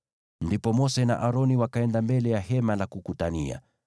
Ndipo Mose na Aroni wakaenda mbele ya Hema la Kukutania,